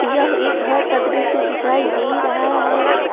यह एक घर का दृश्य दिखाई दे रहा है।